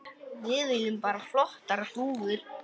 Við viljum bara flottar dúfur.